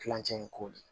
Kilancɛ in ko de